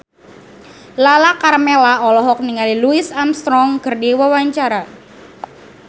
Lala Karmela olohok ningali Louis Armstrong keur diwawancara